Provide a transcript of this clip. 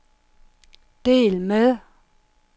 del med